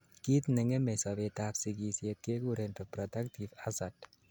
kiit nengemei sobet ab sigisiet kekuren reproductive hazard